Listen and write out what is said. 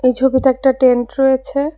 এই ছবিতে একটা টেন্ট রয়েছে।